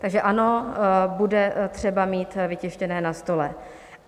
Takže ano, bude třeba mít vytištěné na stole.